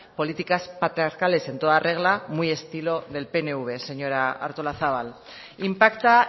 políticas patriarcales en toda regla muy estilo del pnv señora artolazabal impacta